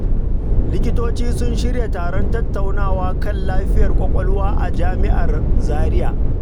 Likitoci sun shirya taron tattaunawa kan lafiyar kwakwalwa a jami’ar Zaria.